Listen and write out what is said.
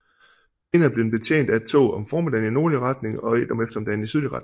Senere blev den betjent af et tog om formiddagen i nordlig retning og et om eftermiddagen i sydlig retning